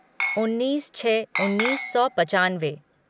उन्नीस छः उन्नीस सौ पचानवे